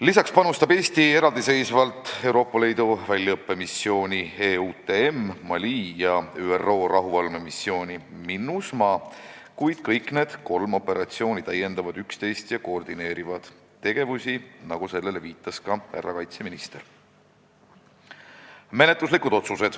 Lisaks panustab Eesti eraldiseisvalt Euroopa Liidu väljaõppemissiooni ja ÜRO rahuvalvemissiooni , kuid kõik need kolm täiendavad üksteist ja koordineerivad tegevusi, nagu viitas ka härra kaitseminister.